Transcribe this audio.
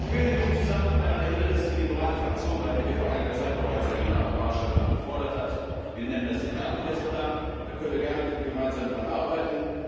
Ich will in diesem Zusammenhang daran erinnern, dass es die Liberale Fraktion war, die hier vor einiger Zeit bereits eine Art Marshall Plan gefordert hat. Wir nennen das den Herkules Plan, da können wir gerne daran arbeiten.